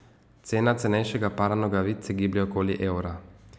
Cena cenejšega para nogavic se giblje okoli evra.